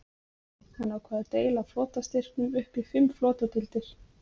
Hann ákvað að deila flotastyrknum upp í fimm flotadeildir.